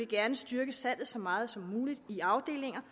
gerne styrke salget så meget som muligt i afdelinger